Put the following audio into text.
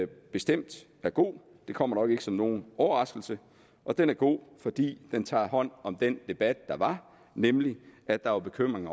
bestemt er god det kommer nok ikke som nogen overraskelse den er god fordi den tager hånd om den debat der var nemlig at der var bekymring